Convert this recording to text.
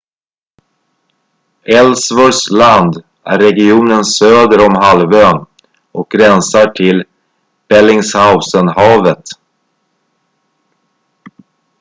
ellsworths land är regionen söder om halvön och gränsar till bellingshausenhavet